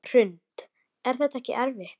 Hrund: Er þetta ekkert erfitt?